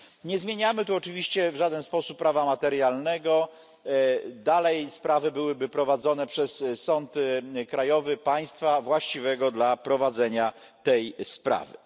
Nie zmieniamy tu oczywiście w żaden sposób prawa materialnego, dalej sprawy byłyby prowadzone przez sąd krajowy państwa właściwego dla prowadzenia tej sprawy.